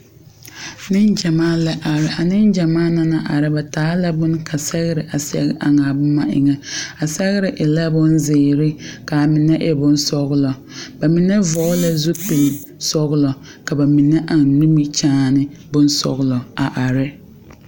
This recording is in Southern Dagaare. Negyamaa la are. A negyamaa na naŋ are, ba taa la boŋ ka sɛgre a sɛg eŋ a bon eŋe. A sɛgre e la bon ziire ka a mene e bon sɔglɔ. Ba mene vogla zupul sɔglɔ ka ba mene eŋ nimikyaane bon sɔglɔ a are.